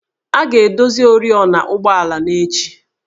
A ga-edozi oriọna ụgbọala n'echi